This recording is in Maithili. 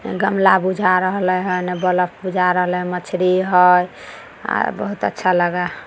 गमला बुझा रहले हई उने बल्ब बुझा रहले या मछली हय अ बहुत अच्छा लगे--